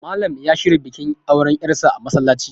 Malam ya shirya bikin aure yarsa a msallaci